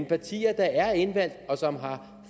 at partier der er indvalgt og som har